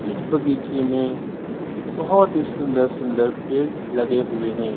इस बगीचे में बहोत ही सुंदर सुंदर पेड़ लगे हुए है।